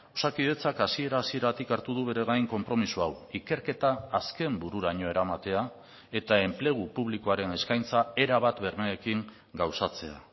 osakidetzak hasiera hasieratik hartu du bere gain konpromiso hau ikerketa azken bururaino eramatea eta enplegu publikoaren eskaintza erabat bermeekin gauzatzea